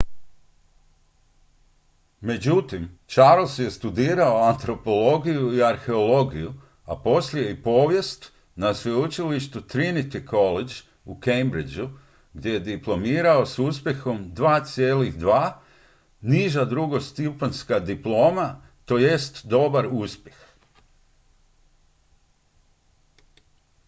"međutim charles je studirao antropologiju i arheologiju a poslije i povijest na sveučilištu trinity college u cambridgeu gdje je diplomirao s uspjehom "2:2" niža drugostupanjska diploma tj. dobar uspjeh.